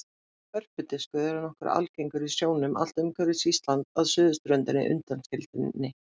Hörpudiskur er nokkuð algengur í sjónum allt umhverfis Ísland að suðurströndinni undanskilinni.